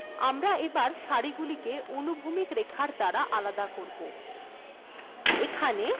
আমরা এবার সারিগুলিকে আনুভূমিক রেখার দ্বারা আলাদা করব এখানে h line লেখা যাক দেখা যাক এরফলে ডকুমেন্ট্এ কি পরিবর্তন হল এখন শ্রেণীগুলির উপরে একটি রেখা দেখা যাচ্ছে